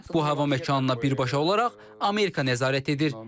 Bu hava məkanına birbaşa olaraq Amerika nəzarət edir.